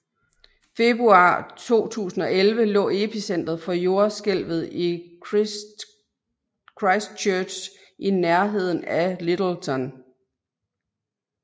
Februar 2011 lå epicentret for jordskælvet i Christchurch i nærheden af Lyttelton